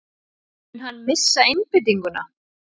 Mun hann missa einbeitinguna?